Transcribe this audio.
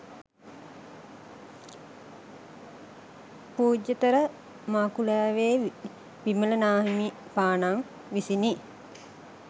පූජ්‍යතර මකුලෑවේ විමල නාහිමිපාණන් විසිනි.